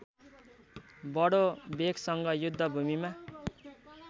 बडो वेगसँग युद्धभूमिमा